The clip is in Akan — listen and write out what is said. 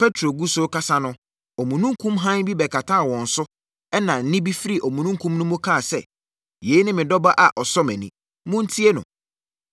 Petro gu so rekasa no, omununkum hann bi bɛkataa wɔn so ɛnna nne bi firi omununkum no mu kaa sɛ, “Yei ne me Dɔ Ba a ɔsɔ mʼani. Montie no!”